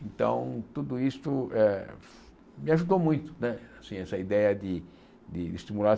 Então, tudo isso eh me ajudou muito, né essa ideia de de estimular.